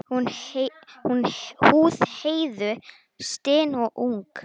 Húð Heiðu stinn og ung.